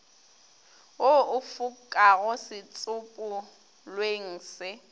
wo o fokago setsopolweng se